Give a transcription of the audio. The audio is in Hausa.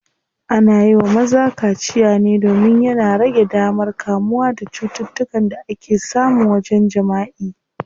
Ana yiwa maza kaciya ne domin yana rage damar kamuwa da cututtukan da ake samu wajen jimaʼi.